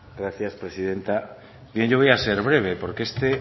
gracias presidenta bien yo voy a ser breve porque este